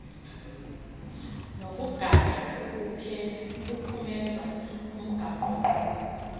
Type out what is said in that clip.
nokugaya ukuphumeza umgaqonkqubo